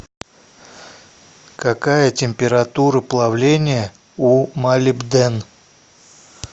какая температура плавления у молибден